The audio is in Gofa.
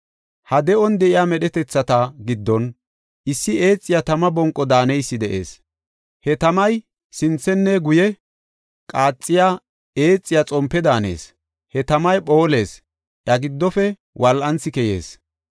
Ha de7on de7iya medhetethata giddon issi eexiya tama bonqo daaneysi de7ees. He tamay sinthenne guye qaaxiya, eexiya xompe daanees; he tamay phoolees; iya giddofe wol7anthi keyees.